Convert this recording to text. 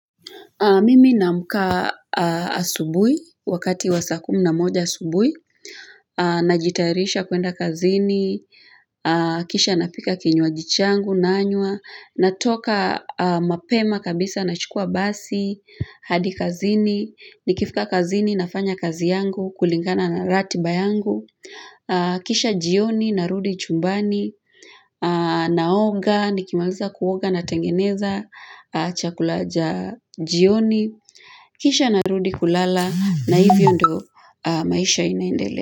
Mimi naamka asubui, wakati wa saa kumi na moja asubui, najitairisha kuenda kazini, kisha napika kinywa jichangu, nanywa, natoka mapema kabisa, nachukua basi, hadi kazini, nikifika kazini, nafanya kazi yangu, kulingana na ratiba yangu. Kisha jioni narudi chumbani naoga nikimaliza kuoga na tengeneza Chakula cha jioni Kisha narudi kulala na hivyo ndo maisha inaendele.